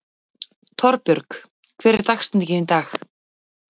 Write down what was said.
Torbjörg, hver er dagsetningin í dag?